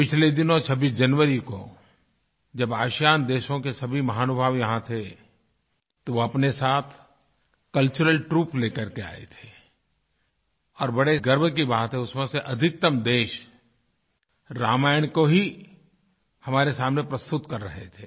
पिछले दिनों 26 जनवरी को जब आसियान आसियान देशों के सभी महानुभाव यहाँ थे तो अपने साथ कल्चरल ट्रूप लेकर के आये थे और बड़े गर्व की बात है कि उसमें से अधितकतम देश रामायण को ही हमारे सामने प्रस्तुत कर रहे थे